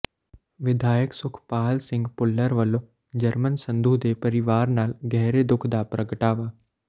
ਵਿਧਾਇਕ ਸੁਖਪਾਲ ਸਿੰਘ ਭੁੱਲਰ ਵੱਲੋਂ ਜਰਮਨ ਸੰਧੂ ਦੇ ਪਰਿਵਾਰ ਨਾਲ ਗਹਿਰੇ ਦੁੱਖ ਦਾ ਪ੍ਰਗਟਾਵਾ